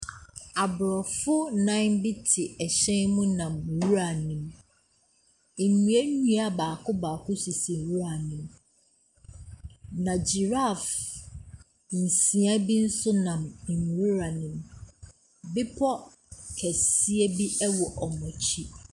Aborɔfo nnan bi te hyɛn mu nam nwura mu. Nnuannua baako baako sisi nwura ne mu. Na giraffe nsia bi nso nam nwura ne mu. Bepɔ kɛseɛ bi wɔ wɔn akyi.